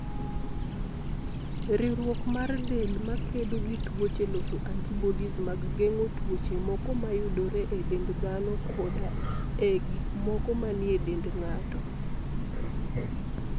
Riwruok mar del ma kedo gi tuoche loso antibodies mag geng'o tuoche moko mayudore e dend dhano koda e gik moko manie dend ng'ato.